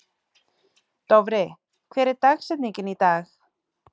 Dofri, hver er dagsetningin í dag?